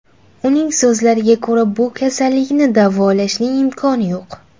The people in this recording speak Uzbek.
Uning so‘zlariga ko‘ra, bu kasallikni davolashning imkoni yo‘q.